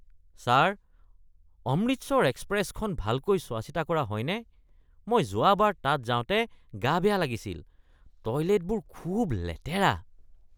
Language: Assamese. ছাৰ, অমৃতসৰ এক্সপ্ৰেছখন ভালকৈ চোৱা-চিতা কৰা হয়নে? মই যোৱাবাৰ তাত যাওঁতে গা বেয়া লাগিছিল। টয়লেটবোৰ খুব লেতেৰা।